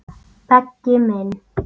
Beggi minn.